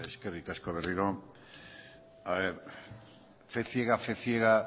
eskerrik asko berriro a ver fe ciega fe ciega